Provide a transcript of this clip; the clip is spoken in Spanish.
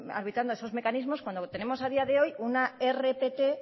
arbitrando esos mecanismos cuando tenemos a día de hoy una rpt